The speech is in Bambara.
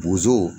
Bozo